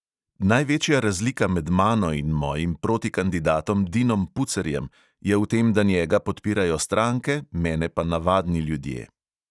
Največja razlika med mano in mojim protikandidatom dinom pucerjem je v tem, da njega podpirajo stranke, mene pa navadni ljudje.